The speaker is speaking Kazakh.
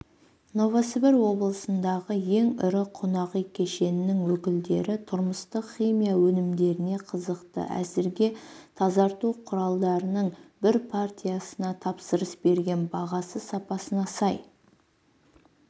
новосібір облысындағы ең ірі қонақүй кешенінің өкілдері тұрмыстық химия өнімдеріне қызықты әзірге тазарту құралдарының бір партиясына тапсырыс берген бағасы сапасына сай